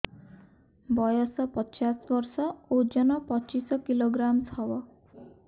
ବୟସ ପଚିଶ ବର୍ଷ ଓଜନ ପଚିଶ କିଲୋଗ୍ରାମସ ହବ